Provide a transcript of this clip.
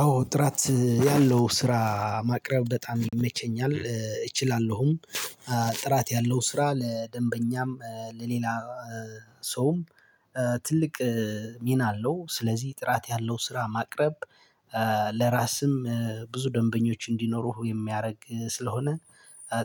አዎ ጥራት ያለው ስራ ማቅረብ በጣም ይመቸኛል እችላለሁም። ጥራት ያለው ስራ ለደንበኛም ለሌላ ሰውም ትልቅ ሚና አለው። ስለዚህ ጥራት ያለው ስራ ማቅረብ። ለራስም ብዙ ደንበኞች እንዲኖሩህ የሚያደርግ ስለሆነ።